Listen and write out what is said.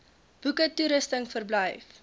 boeke toerusting verblyf